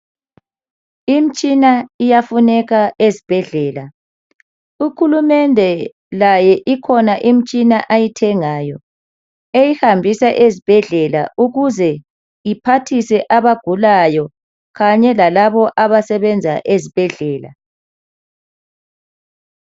Imtshina iyafuneka ezibhendlela. Uhulumende laye ikhona imitshina ayithengayo eyihambise ezibhendlela ukuze kuphathise abagulayo kanye lalabo abasebenza ezibhedlela